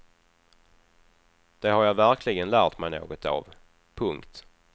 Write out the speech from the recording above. Det har jag verkligen lärt mig något av. punkt